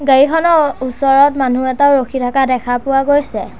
গাড়ীখনৰ ওচৰত মানুহ এটা ৰখি থাকা দেখা পোৱা গৈছে।